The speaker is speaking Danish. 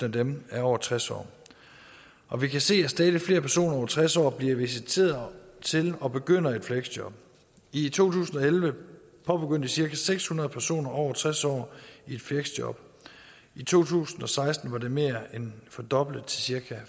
af dem er over tres år og vi kan se at stadig flere personer over tres år bliver visiteret til at begynde i et fleksjob i to tusind og elleve påbegyndte cirka seks hundrede personer over tres år et fleksjob i to tusind og seksten var det mere end fordoblet til cirka